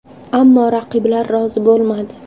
Ammo raqiblar rozi bo‘lmadi.